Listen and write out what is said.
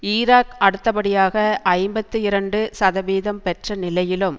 Iraq அடுத்த படியாக ஐம்பத்தி இரண்டு சதவீதம் பெற்ற நிலையிலும்